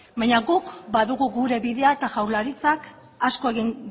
baina guk badugu gure bidea eta jaurlaritzak asko egin